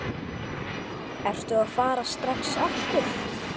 Ertu að fara strax aftur?